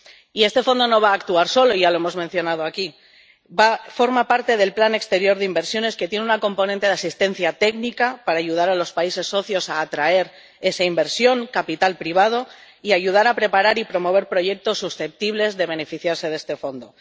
Y este fondo no va actuar solo —ya lo hemos mencionado aquí—, forma parte del Plan de Inversiones Exteriores que tiene un componente de asistencia técnica para ayudar a los países socios a atraer esa inversión, capital privado, y ayudar a preparar y promover proyectos susceptibles de beneficiarse de este fondo.